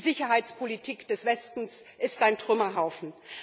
Die Sicherheitspolitik des Westens ist ein Trümmerhaufen.